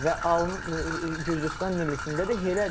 Və Gürcüstan millisində də elədir.